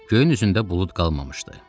Göyün üzündə bulud qalmamışdı.